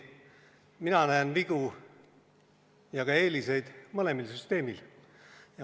Mina näen vigu ja ka eeliseid mõlemal süsteemil.